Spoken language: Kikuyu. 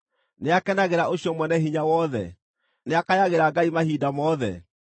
Nĩakenagĩra ũcio Mwene-Hinya-Wothe? Nĩakayagĩra Ngai mahinda mothe?